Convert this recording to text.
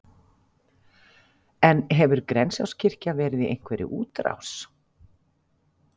En hefur Grensáskirkja verið í einhverri útrás?